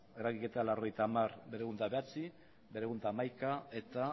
eragiketa laurogeita hamar mila berrehun eta bederatzi laurogeita hamar mila berrehun eta hamaika eta